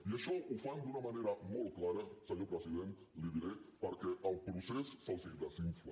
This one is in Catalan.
i això ho fan d’una manera molt clara senyor president li ho diré perquè el procés se’ls desinfla